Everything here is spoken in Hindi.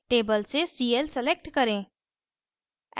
table से cl select करें